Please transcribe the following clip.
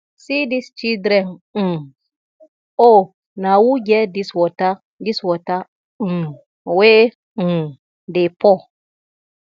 see dis children um oo na who get dis water dis water um wey um dey pour